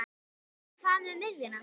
En hvað með miðjuna?